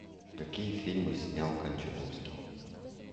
какие фильмы снял кончаловский